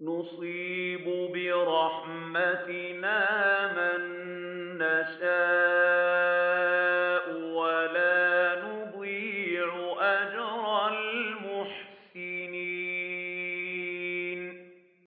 نُصِيبُ بِرَحْمَتِنَا مَن نَّشَاءُ ۖ وَلَا نُضِيعُ أَجْرَ الْمُحْسِنِينَ